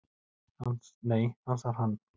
"""Nei, ansar hann."""